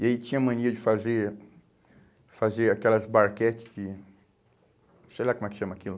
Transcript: E aí tinha mania de fazer fazer aquelas barquete de... Sei lá como é que chama aquilo.